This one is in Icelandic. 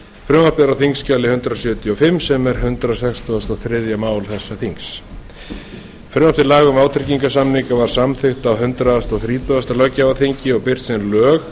frumvarpið er á þingskjali hundrað sjötíu og fimm sem er hundrað sextugasta og þriðja mál þessa þings frumvarp til laga um vátryggingarsamninga var samþykkt á hundrað þrítugasta löggjafarþingi og birt sem lög